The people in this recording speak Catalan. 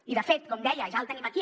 i de fet com deia ja el tenim aquí